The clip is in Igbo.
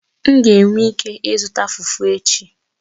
M ga-enwe ike ịzụta Fufu echi